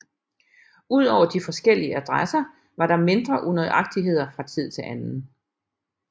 Udover de forskellige adresser var der mindre unøjagtigheder fra tid til anden